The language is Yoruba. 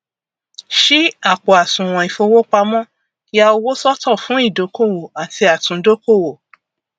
ṣí àpò àsùwọn ìfowópamọ ya owó sọtọ fún ìdókòwò àti àtúndókòwò